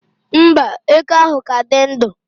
mba, eke ahụ ka dị ndụ